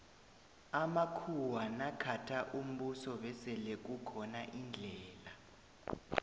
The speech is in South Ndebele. amakhuwa nakhatha umbuso besele kukhona indlela